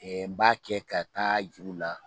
b'a kɛ ka taa jur'u la